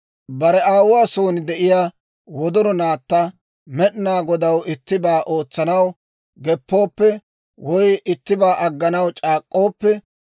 «Bare aawuwaa son de'iyaa wodoro naatta, Med'inaa Godaw ittibaa ootsanaw geppooppe, woy ittibaa agganaw c'aak'k'ooppe,